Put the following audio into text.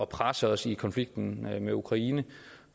presse os i konflikten med ukraine